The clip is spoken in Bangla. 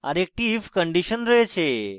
আরেকটি if condition রয়েছে